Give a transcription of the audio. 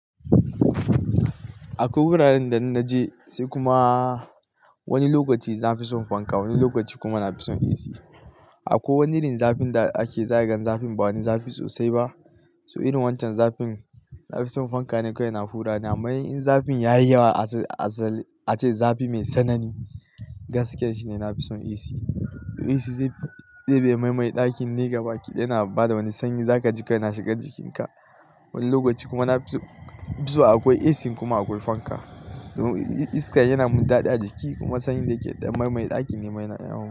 A ko wuraren da na je sai kuma wani lokaci na fi son fanka wani lokaci kuma na fi son AC. A ko wani irin zafin da ake zaigan zafin ba wani zafi sosai ba, so irin wancan zafin na fi son fanka ne kawai yana hura namai in zafin ya yi yawa asali ace zafi mai sanani gaskiya shine na fi son AC. AC zai ɗebe mai mai ɗakin nei gaba kidaya na bada wani sanyi za ka ji kana shiga jikinka. Wani lokaci kuma na fi so akwai AC kuma akwai fanka. Iska yana mun daɗi a jiki kuma sanyi da yake ɗan mai mai ɗakin ne mai na yawa.